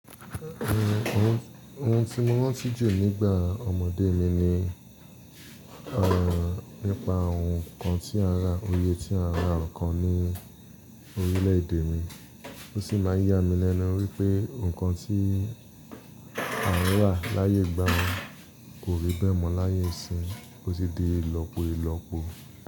Ohun, ohun tí mo rántí jù nígbà ọmọdé mi ni, nípa ohun kan tí a rà, oye tí a rà ọ̀kan ní orílẹ̀ èdè mi. Ó sì máa ń yá mi lẹ́nu wípé ohun kan tí a rí rà láyé ìgbà mi kò rí bẹ́ẹ̀ mọ́ láyé ìsín, ó tì di ìlọpo ìlọpo.